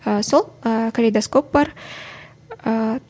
ы сол ы калейдоскоп бар